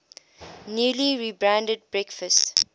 newly rebranded breakfast